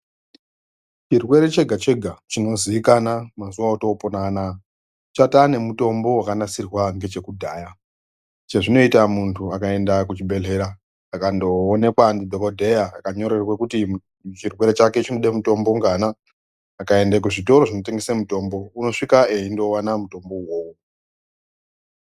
Chirwre chega chega chinozikana mazuva otopona anaya chatova nemitombo unozikanwa ngekudhaya chazvonoita muntu akaenda kuchibhehleya akandooneka ndodokodheya akanyorerwa kuti chirwre chake chinoda mitombo ngana akaenda kuzvitoro zvinotengesa mitombo unosvika einowa mitombo wo uwowo.